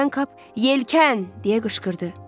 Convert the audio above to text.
Birdən Kap “Yelkən!” deyə qışqırdı.